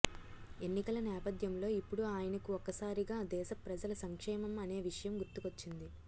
ఎన్నికల నేపథ్యంలో ఇప్పుడు ఆయనకు ఒక్కసారిగా దేశ ప్రజల సంక్షేమం అనే విషయం గుర్తుకొచ్చింది